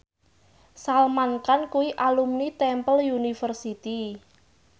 Salman Khan kuwi alumni Temple University